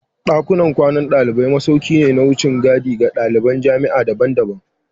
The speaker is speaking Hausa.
Dakunan kwanan dalibai masauki ne na wucin gadi ga daliban jami'a daban-daban